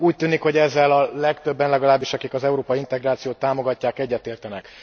Úgy tűnik, hogy ezzel a legtöbben, legalábbis akik az európai integrációt támogatják, egyetértenek.